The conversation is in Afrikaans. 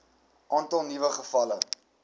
aantal nuwe gevalle